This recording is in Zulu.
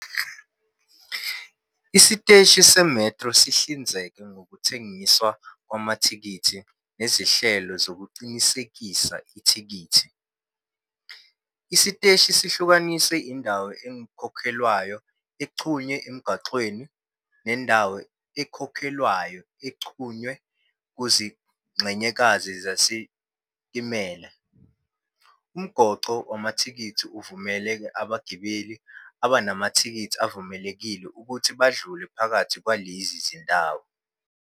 Isiteshi se-metro sihlinzeka ngokuthengiswa kwamathikithi nezinhlelo zokuqinisekisa ithikithi. Isiteshi sihlukaniswe indawo engakhokhelwa exhunywe emgwaqweni, nendawo ekhokhelwayo exhunywe kuzingxenyekazi zezitimela. Umgoqo wamathikithi uvumela abagibeli abanamathikithi avumelekile ukuthi badlule phakathi kwalezi zindawo.